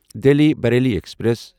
Delhi Bareilly express